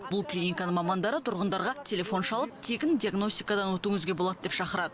бұл клиниканың мамандары тұрғындарға телефон шалып тегін диагностикадан өтуіңізге болады деп шақырады